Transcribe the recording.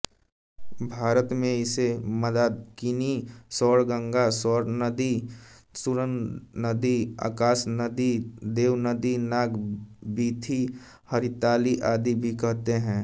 भारत में इसे मंदाकिनी स्वर्णगंगा स्वर्नदी सुरनदी आकाशनदी देवनदी नागवीथी हरिताली आदि भी कहते हैं